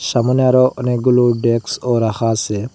সামোনে আরও অনেকগুলো ডেক্সও রাখা আসে ।